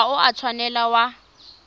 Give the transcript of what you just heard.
ga o a tshwanela wa